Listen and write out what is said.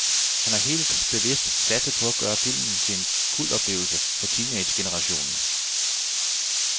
Han har helt bevidst satset på at gøre filmen til en kultoplevelse for teenagegenerationen.